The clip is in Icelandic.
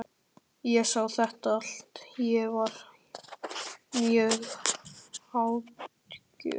Ég sá þetta allt- ég var mjög athugull.